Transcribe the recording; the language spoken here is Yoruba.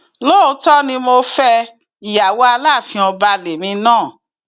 lóòótọ ni mo fẹ ìyàwó aláàfin ọba lèmi náà